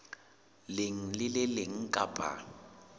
leng le le leng kapa